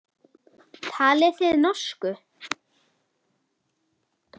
Talið þið norsku.